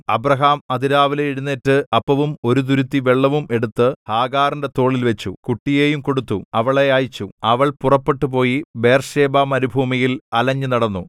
Abraham അതിരാവിലെ എഴുന്നേറ്റ് അപ്പവും ഒരു തുരുത്തി വെള്ളവും എടുത്ത് ഹാഗാറിന്റെ തോളിൽവച്ചു കുട്ടിയെയും കൊടുത്തു അവളെ അയച്ചു അവൾ പുറപ്പെട്ടുപോയി ബേർശേബ മരുഭൂമിയിൽ അലഞ്ഞുനടന്നു